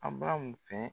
A bamu fɛ